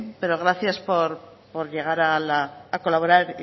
pero gracias por llegar a colaborar